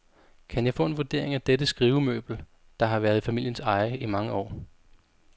Kan jeg få en vurdering af dette skrivemøbel, der har været i familiens eje i mange år?